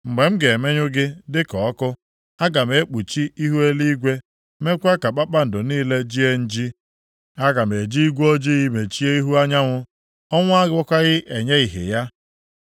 Mgbe m ga-emenyụ gị dịka ọkụ, aga m ekpuchi ihu eluigwe, meekwa ka kpakpando niile jie nji. Aga m eji igwe ojii mechie ihu anyanwụ, ọnwa agakwaghị enye ìhè ya.